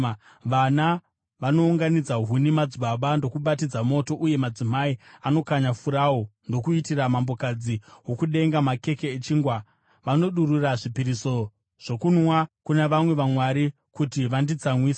Vana vanounganidza huni, madzibaba ndokubatidza moto, uye madzimai anokanya furawu ndokuitira Mambokadzi woKudenga makeke echingwa. Vanodurura zvipiriso zvokunwa kuna vamwe vamwari kuti vanditsamwise.